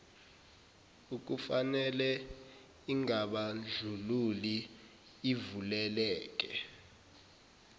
ekufanele ingabandlululi ivuleleke